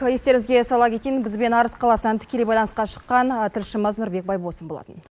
естеріңізге сала кетейін бізбен арыс қаласынан тікелей байланысқа шыққан тілшіміз нұрбек байбосын болатын